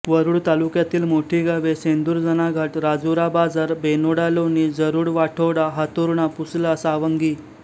वरूड तालुक्यातील मोठी गावे शेंदुरजणाघाट राजुरा बाजार बेनोडा लोणी जरूड वाठोडा हातुर्णा पुसला सावंगी